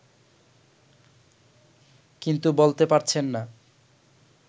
কিন্তু বলতে পারছেন না